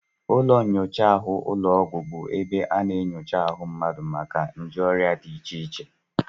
Ụlọnnyocha ụlọọgwụ bụ ebe a na-enyocha ahụ mmadụ maka nje ọrịa dị iche iche